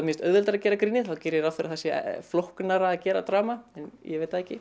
finnst auðveldara að gera grínið þá geri ég ráð fyrir að það sé flóknara að gera drama en ég veit það ekki